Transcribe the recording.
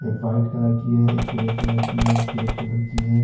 एक white colour की है एक ग्रे कलर की है एक ब्लैक कलर की है।